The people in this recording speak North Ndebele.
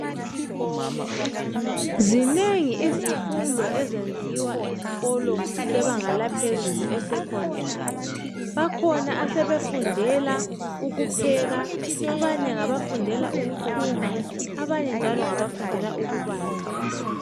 Zinengi izifundo ezenziwa esikolo sebanga laphezulu eSecondary bakhona asebefundela ukupheka abanye ngabafundela ukuthunga abanye njalo ngabafundela ukubala.